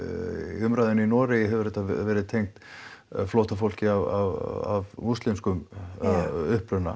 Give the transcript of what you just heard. umræðunni í Noregi hefur þetta verið tengt flóttafólki af múslimskum uppruna